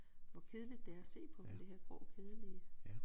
Hvor kedeligt det er at se på det her grå kedelige